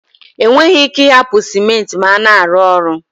E nweghi ike I hapu Simenti ma a na-aru ulo